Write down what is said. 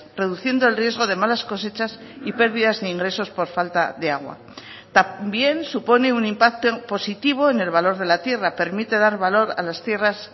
reduciendo el riesgo de malas cosechas y pérdidas de ingresos por falta de agua también supone un impacto en positivo en el valor de la tierra permite dar valor a las tierras